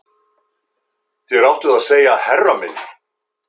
Þér áttuð að segja herra minn